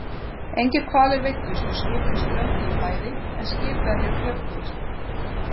Engir hvalir veiddust og skipin strönduðu bæði, en skipverjar björguðust.